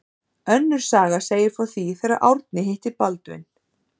Önnur saga segir frá því þegar Árni hitti Baldvin